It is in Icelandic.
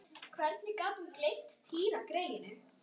Hvernig gat hún gleymt Týra greyinu?